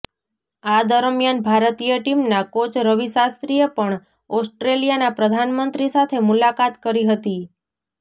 આ દરમિયાન ભારતીય ટીમના કોચ રવિ શાસ્ત્રીએ પણ ઓસ્ટ્રેલિયાના પ્રધાનમંત્રી સાથે મુલાકાત કરી હતી